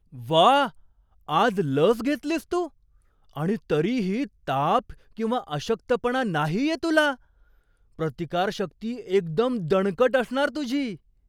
व्वा! आज लस घेतलीस तू, आणि तरीही ताप किंवा अशक्तपणा नाहीये तुला. प्रतिकारशक्ती एकदम दणकट असणार तुझी!